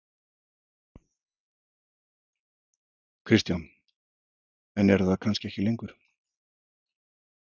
Kristján: En eru það kannski ekki lengur?